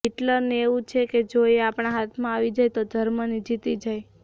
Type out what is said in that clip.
હિટલરને એવું છે કે જો એ આપણા હાથમાં આવી જાય તો જર્મની જીતી જાય